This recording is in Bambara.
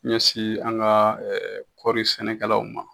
Ɲɛsi an ka kɔɔri sɛnɛkɛlaw ma.